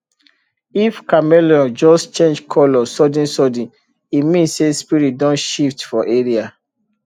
if chameleon just change colour suddensudden e mean say spirit don shift for area